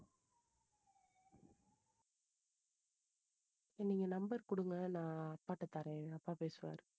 நீங்க number கொடுங்க நான் அப்பா கிட்ட தர்றேன் அப்பா பேசுவாரு.